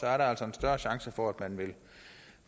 er der altså en større chance for at man vil